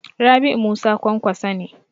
Rabi'u Musa Kwankwaso ne.